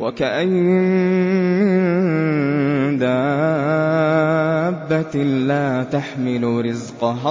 وَكَأَيِّن مِّن دَابَّةٍ لَّا تَحْمِلُ رِزْقَهَا